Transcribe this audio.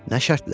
Nə şərtlə?